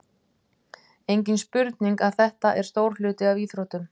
Engin spurning að þetta er stór hluti af íþróttum.